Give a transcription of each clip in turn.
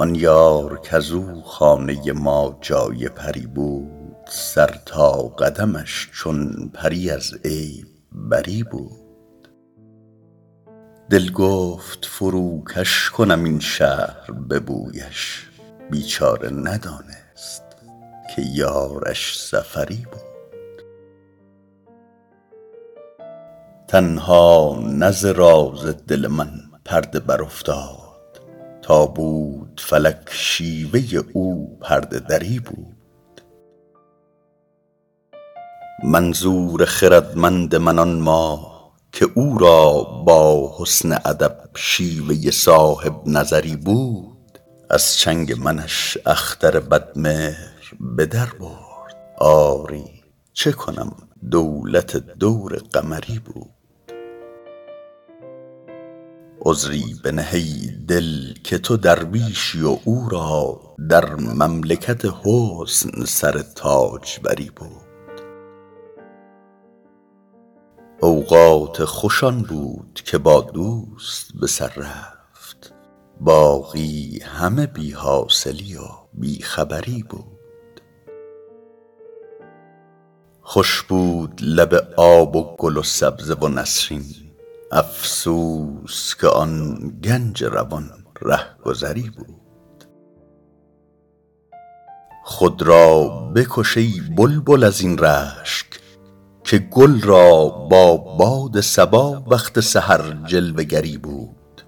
آن یار کز او خانه ما جای پری بود سر تا قدمش چون پری از عیب بری بود دل گفت فروکش کنم این شهر به بویش بیچاره ندانست که یارش سفری بود تنها نه ز راز دل من پرده برافتاد تا بود فلک شیوه او پرده دری بود منظور خردمند من آن ماه که او را با حسن ادب شیوه صاحب نظری بود از چنگ منش اختر بدمهر به در برد آری چه کنم دولت دور قمری بود عذری بنه ای دل که تو درویشی و او را در مملکت حسن سر تاجوری بود اوقات خوش آن بود که با دوست به سر رفت باقی همه بی حاصلی و بی خبری بود خوش بود لب آب و گل و سبزه و نسرین افسوس که آن گنج روان رهگذری بود خود را بکش ای بلبل از این رشک که گل را با باد صبا وقت سحر جلوه گری بود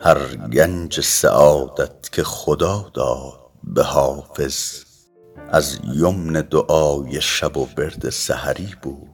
هر گنج سعادت که خدا داد به حافظ از یمن دعای شب و ورد سحری بود